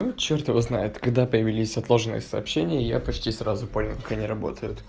черт его знает когда появились отложенные сообщения я почти сразу понял какой работа